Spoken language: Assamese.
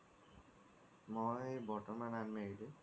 মই বৰ্তমান unmarried